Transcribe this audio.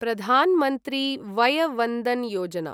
प्रधान् मन्त्री वय वन्दन् योजना